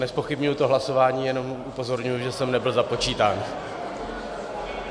Nezpochybňuji to hlasování, jenom upozorňuji, že jsem nebyl započítán.